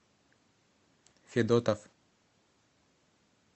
федотов